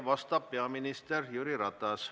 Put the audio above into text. Vastab peaminister Jüri Ratas.